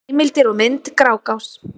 Heimildir og mynd: Grágás.